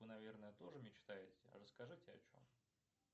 вы наверное тоже мечтаете расскажите о чем